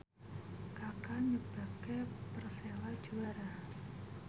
Kaka nyebabke Persela juara